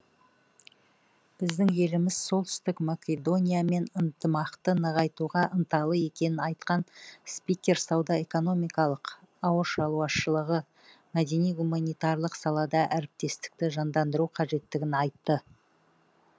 біздің еліміз солтүстік македониямен ынтымақты нығайтуға ынталы екенін айтқан спикер сауда экономикалық ауыл шаруашылығы мәдени гуманитарлық салада әріптестікті жандандыру қажеттігін айтты